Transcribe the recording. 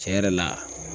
Tiɲɛ yɛrɛ la